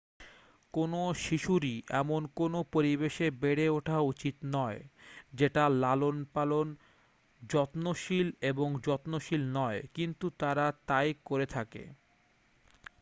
কোনো শিশুরই এমন কোনো পরিবেশে বেড়ে ওঠা উচিত নয় যেটা লালন-পালন ,যত্নশীল এবং যত্নশীল নয় ,কিন্তু তারা তাই করে থাকে।